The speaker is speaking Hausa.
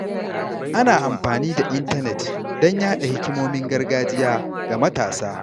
Ana amfani da intanet don yaɗa hikimomin gargajiya ga matasa.